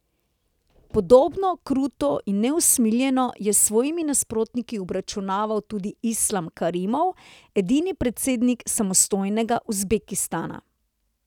Podobno, kruto in neusmiljeno, je s svojimi nasprotniki obračunaval tudi Islam Karimov, edini predsednik samostojnega Uzbekistana.